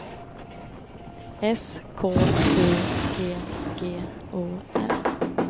S K U G G O R